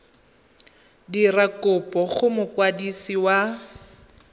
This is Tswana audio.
dira kopo go mokwadisi wa